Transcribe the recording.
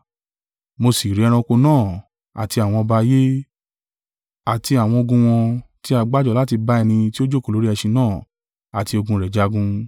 Mo sì rí ẹranko náà àti àwọn ọba ayé, àti àwọn ogun wọn tí a gbá jọ láti bá ẹni tí ó jókòó lórí ẹṣin náà àti ogun rẹ̀ jagun.